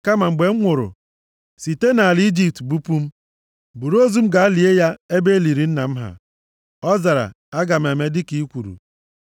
Kama, mgbe m nwụrụ, site nʼala Ijipt bupụ m. Buru ozu m gaa lie ya ebe e liri nna m ha.” Ọ zara, “Aga m eme dịka i kwuru.”